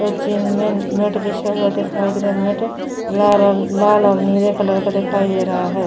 और जिम मै मॅट बिछा हुआ दिखाई दे रहा है मॅट लाल और लाल और नीले कलर का दिखाई दे रहा है।